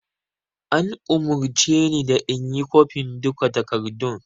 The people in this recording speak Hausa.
An umurce ni da inyi kwafen duka takardun